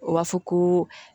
O b'a fɔ ko